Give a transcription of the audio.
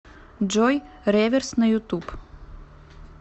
джой реверс на ютуб